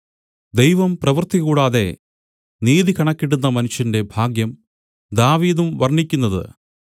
ദൈവം പ്രവൃത്തികൂടാതെ നീതികണക്കിടുന്ന മനുഷ്യന്റെ ഭാഗ്യം ദാവീദും വർണ്ണിക്കുന്നത്